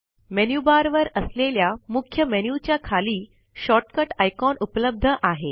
menu bar वर असलेल्या मुख्य मेन्यु च्या खाली शॉर्टकट आयकॉन उपलब्ध आहे